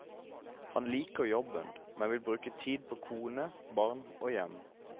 Han liker jobben, men vil bruke tid på kone, barn og hjem.